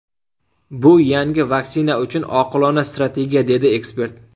Bu yangi vaksina uchun oqilona strategiya”, dedi ekspert.